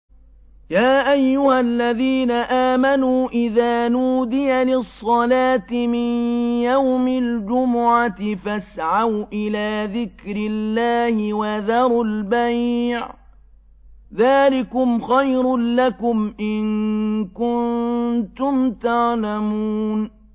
يَا أَيُّهَا الَّذِينَ آمَنُوا إِذَا نُودِيَ لِلصَّلَاةِ مِن يَوْمِ الْجُمُعَةِ فَاسْعَوْا إِلَىٰ ذِكْرِ اللَّهِ وَذَرُوا الْبَيْعَ ۚ ذَٰلِكُمْ خَيْرٌ لَّكُمْ إِن كُنتُمْ تَعْلَمُونَ